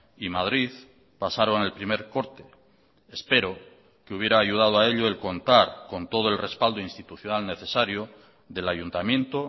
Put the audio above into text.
y madrid pasaron el primer corte espero que hubiera ayudado a ello el contar con todo el respaldo institucional necesario del ayuntamiento